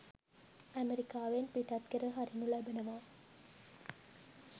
අමෙරිකාවෙන් පිටත් කර හරිනු ලබනවා.